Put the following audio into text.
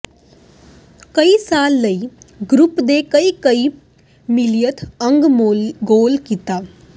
ਕਈ ਸਾਲ ਲਈ ਗਰੁੱਪ ਦੇ ਕਈ ਕਈ ਮਿਲੀਅਨ ਅੰਗ ਗੋਲ ਕੀਤਾ